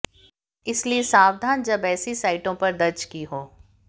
इसलिए सावधान जब ऐसी साइटों पर दर्ज की हो